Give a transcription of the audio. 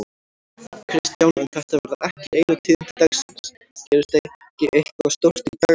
Kristján: En þetta verða ekki einu tíðindi dagsins, gerist ekki eitthvað stórt í dag annað?